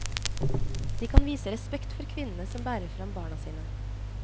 De kan vise respekt for kvinnene som bærer fram barna sine.